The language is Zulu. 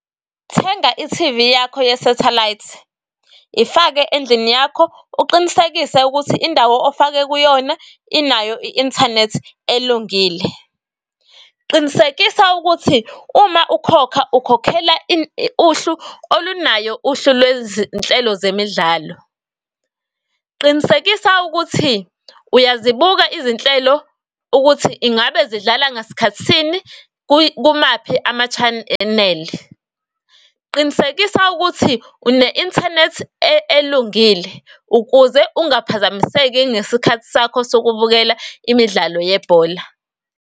Thenga i-T_V yakho ye-satellite, ifake endlini yakho, uqinisekise ukuthi indawo ofake kuyona inayo i-inthanethi elungile. Qinisekisa ukuthi uma ukhokha ukhokhela uhlu olunayo uhlu lwezinhlelo zemidlalo. Qinisekisa ukuthi uyazibuka izinhlelo ukuthi ingabe zidlala ngasikhathi sini kumaphi ama-channel. Qinisekisa ukuthi une-inthanethi elungile ukuze ungaphazamiseki ngesikhathi sakho sokubukela imidlalo yebhola.